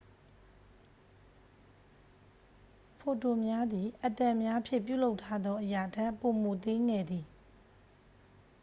ဖိုတွန်များသည် အက်တမ်များဖြင့် ပြုလုပ်ထားသော အရာထက် ပိုမိုသေးငယ်သည်